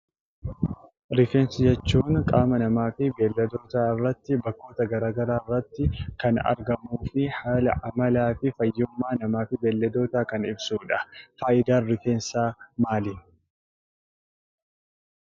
Rifeensa jechuun qaama namaa fi beeyiladoota irratti bakkee garaagaraa irratti kan argamuu fi haala amala namaa fi fayyummaa beeyiladoota kan ibsudha. Fayidaan rifeensaa maali?